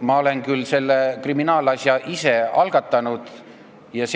Ma olen küll selle kriminaalasja ise algatanud ja